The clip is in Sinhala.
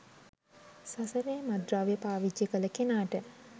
සසරේ මත්ද්‍රව්‍ය පාවිච්චි කළ කෙනාට